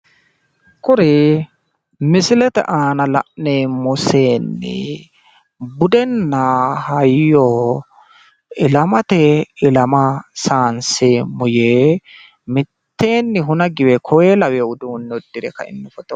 kuri misilete aana la'neemmo seenni budenna hayyo ilamatenni ilama sayiinseemmo yee mitteenni huna giwe koye lawino uduunne uddire kaino foto.